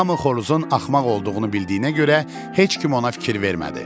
Hamı xoruzun axmaq olduğunu bildiyinə görə heç kim ona fikir vermədi.